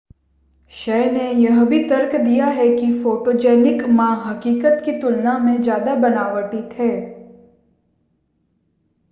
शय ने यह भी तर्क दिया कि फ़ोटोजेनिक मा हक़ीक़त की तुलना में ज़्यादा बनावटी थे